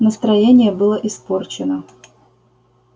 настроение было испорчено